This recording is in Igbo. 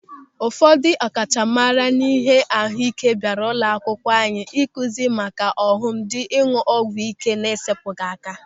Ụfọdụ ọkachamara n'ịhe ahụike bịara ụlọakwụkwọ anyị ịkụzi maka ọghọm dị n'ịñụ ọgwụ ị́ké na-esepụghị aka.